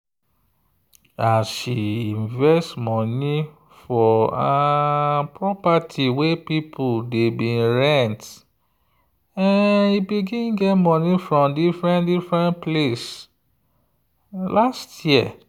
as she invest money for property wey people dey rent e begin get money from different-different place last year.